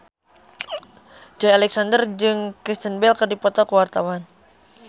Joey Alexander jeung Kristen Bell keur dipoto ku wartawan